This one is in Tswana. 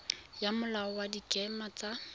ya molao wa dikema tsa